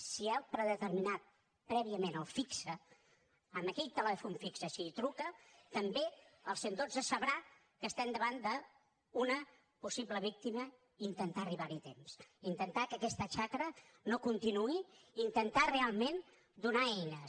si ha predeterminat prèviament el fix amb aquell telèfon fix si hi truca també el cent i dotze sabrà que estem davant d’una possible víctima i intentar arribar hi a temps intentar que aquesta xacra no continuï intentar realment donar eines